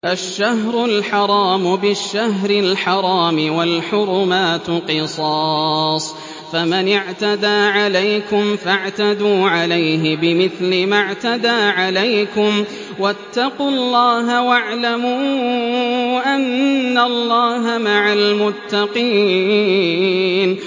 الشَّهْرُ الْحَرَامُ بِالشَّهْرِ الْحَرَامِ وَالْحُرُمَاتُ قِصَاصٌ ۚ فَمَنِ اعْتَدَىٰ عَلَيْكُمْ فَاعْتَدُوا عَلَيْهِ بِمِثْلِ مَا اعْتَدَىٰ عَلَيْكُمْ ۚ وَاتَّقُوا اللَّهَ وَاعْلَمُوا أَنَّ اللَّهَ مَعَ الْمُتَّقِينَ